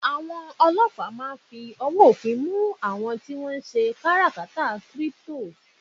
awon olopa ma n fi ọwọ ofin mu amon ti n se katakara crypto